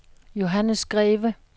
Johannes Greve